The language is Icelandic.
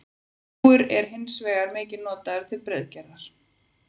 Rúgur eru hins vegar mikið notaðar til brauðgerðar.